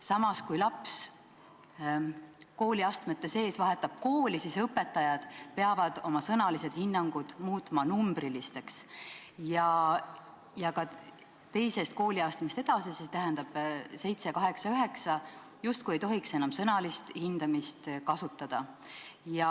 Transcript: Samas, kui laps kooliastmete sees kooli vahetab, peavad õpetajad oma sõnalised hinnangud muutma numbrilisteks ja ka teisest kooliastmest edasi, st 7., 8., 9. klassis justkui ei tohiks enam sõnalist hindamist kasutada.